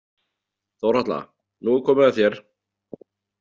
Þórhalla, nú er komið að þér.